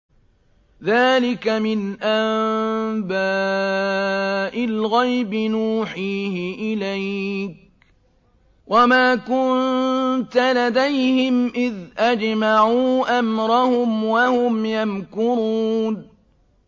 ذَٰلِكَ مِنْ أَنبَاءِ الْغَيْبِ نُوحِيهِ إِلَيْكَ ۖ وَمَا كُنتَ لَدَيْهِمْ إِذْ أَجْمَعُوا أَمْرَهُمْ وَهُمْ يَمْكُرُونَ